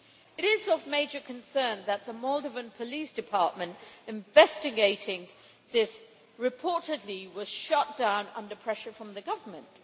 It is of major concern that the Moldovan police department investigating this was reportedly shut down under pressure from the government.